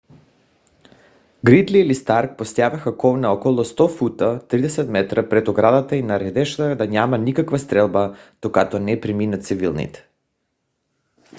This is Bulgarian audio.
гридли или старк поставяха кол на около 100 фута 30 метра пред оградата и нареждаха да няма никаква стрелба докато не преминат цивилните